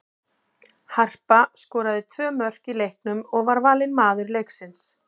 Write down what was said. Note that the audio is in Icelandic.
Harpa skoraði tvö mörk í leiknum og var valin maður leiksins.